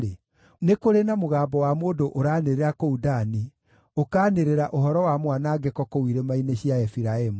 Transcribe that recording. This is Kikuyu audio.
Nĩ kũrĩ na mũgambo wa mũndũ ũranĩrĩra kũu Dani, ũkaanĩrĩra ũhoro wa mwanangĩko kũu irĩma-inĩ cia Efiraimu.